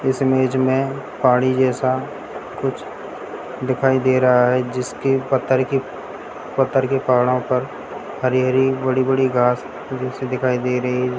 इस इमेज में पानी जैसा कुछ दिखाई दे रहा है जिसके पत्थर की पत्थर के पहाड़ों पर हरी हरी बड़ी-बड़ी घास जैसे दिखाई दे रही है।